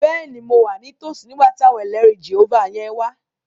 Bẹ́ẹ̀ni, mo wà ní tòsí nígbà tí àwọn ẹlẹrìí Jèhófà yẹn wá